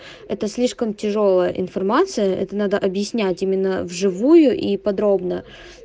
это слишком тяжёлая информация это надо объяснять именно в живую и подробно